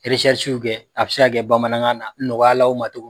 kɛ a bi se ka kɛ bamanankan na, nɔgɔya la aw ma togo min